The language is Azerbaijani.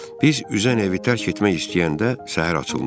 Biz üzən evi tərk etmək istəyəndə səhər açılmışdı.